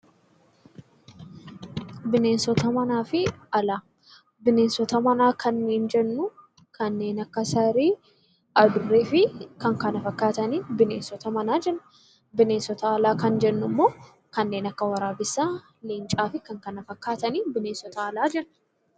Bineensota manaa kan nuti jennu kanneen akka saree, adurree fi kan kana fakkaatan bineensota manaa jenna. Bineensota alaa kan jennu immoo kanneen akka waraabessaa, leencaa fi kan kana fakkaatan bineensota alaa jennaan